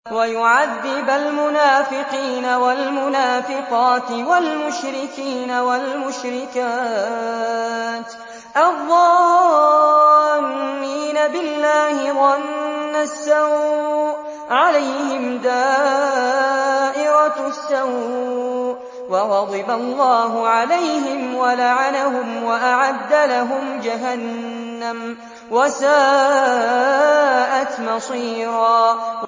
وَيُعَذِّبَ الْمُنَافِقِينَ وَالْمُنَافِقَاتِ وَالْمُشْرِكِينَ وَالْمُشْرِكَاتِ الظَّانِّينَ بِاللَّهِ ظَنَّ السَّوْءِ ۚ عَلَيْهِمْ دَائِرَةُ السَّوْءِ ۖ وَغَضِبَ اللَّهُ عَلَيْهِمْ وَلَعَنَهُمْ وَأَعَدَّ لَهُمْ جَهَنَّمَ ۖ وَسَاءَتْ مَصِيرًا